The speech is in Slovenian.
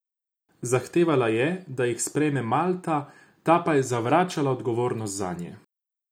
Zahtevala je, da jih sprejme Malta, ta pa je zavračala odgovornost zanje.